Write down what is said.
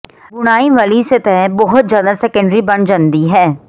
ਬੁਣਾਈ ਵਾਲੀ ਸਤਹ ਬਹੁਤ ਜ਼ਿਆਦਾ ਸੈਕੰਡਰੀ ਬਣ ਜਾਂਦੀ ਹੈ